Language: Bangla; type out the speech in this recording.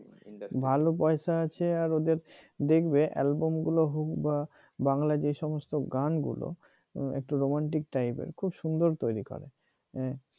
ভালো পয়সা আছে আর ওদের দেখবে album গুলো হোক বা বাংলা যে সমস্ত গানগুলো একটু romantic টাইপের খুব সুন্দর তৈরি করে হ্যাঁ